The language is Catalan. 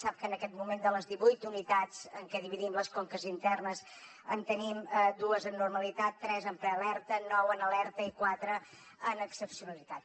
sap que en aquest moment de les divuit unitats en què dividim les conques internes en tenim dues en normalitat tres en prealerta nou en alerta i quatre en excepcionalitat